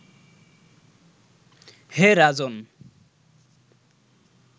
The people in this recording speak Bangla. হে রাজন্